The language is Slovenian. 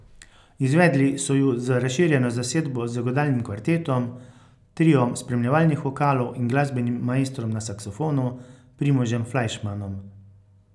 Izvedli so ju z razširjeno zasedbo z godalnim kvartetom, triom spremljevalnih vokalov in glasbenim maestrom na saksofonu, Primožem Flajšmanom.